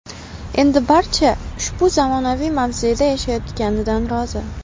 Endi barcha ushbu zamonaviy mavzeda yashayotganidan rozi.